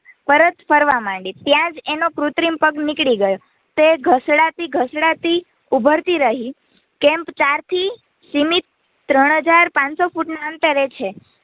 ત્યાંજ એનો કૃત્રિમ પગ નિકડી ગયો તે ઘસડાતી ઘસડાતી ઊભરતી રહી કેમ્પ ચાર થી સીમિત ત્રણ હજાર પનસો ફૂટ ના અંતરે છે